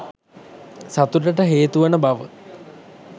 සතුටට හේතුවන බව